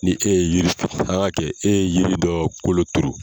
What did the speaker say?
Ni e ye yiri turu an k'a kɛ e ye yiri dɔ kolo turu.